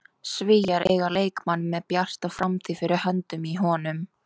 Svíar eiga leikmann með bjarta framtíð fyrir höndum í honum.